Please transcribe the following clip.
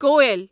کویل